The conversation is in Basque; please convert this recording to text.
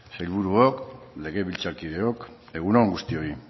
sailburuok legebiltzarkideok egun on guztioi